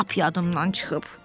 Lap yadımdan çıxıb.